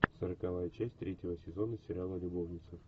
сороковая часть третьего сезона сериала любовницы